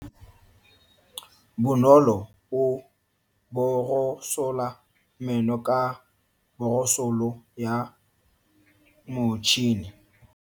Bonolo o borosola meno ka borosolo ya motšhine.